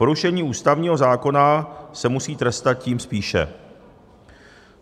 Porušení ústavního zákona se musí trestat tím spíše.